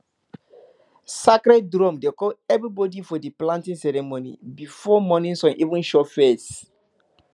sacred drum dey call everybody for di planting ceremony before morning sun even show face